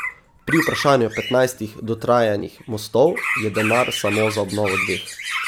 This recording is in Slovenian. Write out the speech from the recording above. Pri vprašanju petnajstih dotrajanih mostov je denar samo za obnovo dveh.